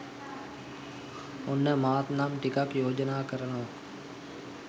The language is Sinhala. ඔන්න මාත් නම් ටිකක් යෝජනා කරනවා.